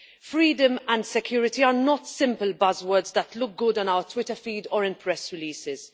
Freedom and security are not simple buzzwords that look good on our Twitter feed or in press releases.